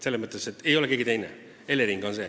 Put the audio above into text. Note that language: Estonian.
See ei ole keegi teine, see on Elering.